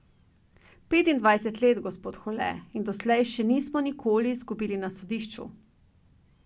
Petindvajset let, gospod Hole, in doslej še nismo nikoli izgubili na sodišču.